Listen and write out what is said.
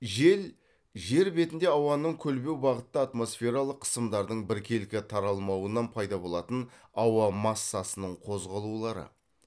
жел жер бетінде ауаның көлбеу бағытта атмосфералық қысымдардың біркелкі таралмауынан пайда болатын ауа массасының қозғалулары